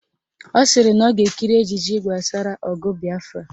Ọ sịrị na ọ ga-ekiri ejije gbasara ọgụ Bịafra